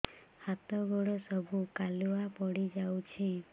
ହାତ ଗୋଡ ସବୁ କାଲୁଆ ପଡି ଯାଉଛି